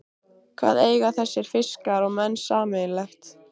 Hvað eiga þessir fiskar og menn sameiginlegt?